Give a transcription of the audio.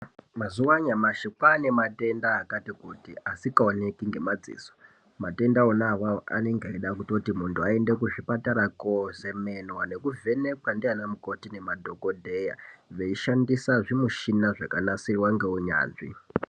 Mazuva anyamashi kwane matenda akati kuti asikaoneki ngemadziso. Matenda ona avavo anonge eida kutoti muntu aende kuzvipatara kozemenwa nekuvhenekwa ndiana mukoti nemadhogodheya. Veishandisa zvimushina zvakanasirwa ngeunyanzvi.